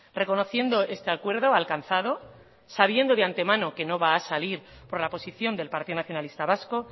reconociendo este acuerdo alcanzado sabiendo de antemano que no va a salir por la posición del partido nacionalista vasco